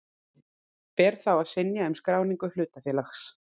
Ber þá að synja um skráningu hlutafélags.